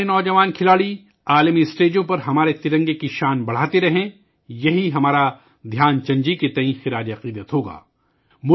ہمارے نوجوان کھلاڑی عالمی پلیٹ فارمز پر ہمارے ترنگے کی شان کو بڑھاتے رہیں، یہی دھیان چند جی کو ہمارا خراج عقیدت ہوگا